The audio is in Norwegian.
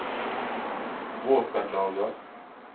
våpenlager